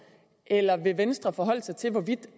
eller vil venstre forholde sig til hvorvidt